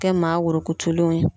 Kɛ maa wueutulenw ye.